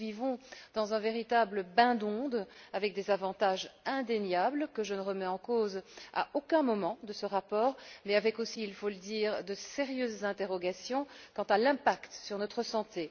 Nous vivons dans un véritable bain d'ondes, avec des avantages indéniables, que je ne remets en cause à aucun moment de ce rapport, mais avec aussi, il faut le dire, de sérieuses interrogations quant à l'impact sur notre santé.